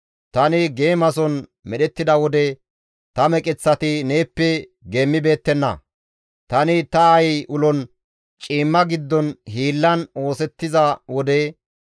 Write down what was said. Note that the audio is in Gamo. Tani geemason medhettida wode ta meqeththati neeppe geemmibeettenna; tani ta aayey ulon ciimma giddon hiillan oosettiza wode,